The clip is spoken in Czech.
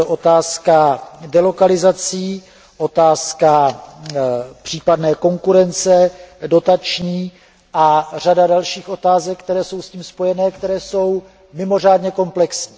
Je to otázka delokalizací, otázka případné dotační konkurence a řada dalších otázek, které jsou s tím spojené a které jsou mimořádně komplexní.